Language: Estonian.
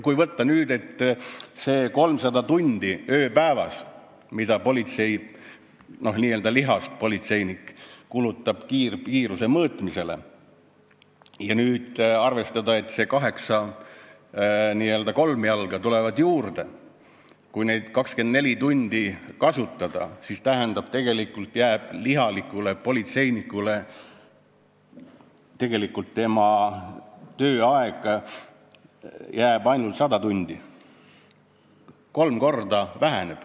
Võtame need 300 tundi ööpäevas, mida lihast ja luust politseinikud kulutavad kiiruse mõõtmisele, ja arvestame, et kaheksa n-ö kolmjalga tulevad juurde ning kui neid 24 tundi kasutada, siis tegelikult jääb politseinikele ainult 100 tundi, nende tööaeg väheneb kolm korda.